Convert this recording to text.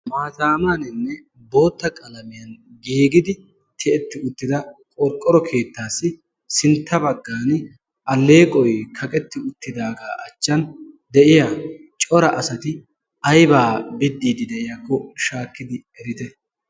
Maataamaaninne bootta qalamiyan giigidi tiyetti uttida qorqqoro keettaassi sintta baggan alleeqoy kaqetti uttidaagaa achchan de'iya cora asati aybaa biddiidi de'iyaakko shaakkidi erite?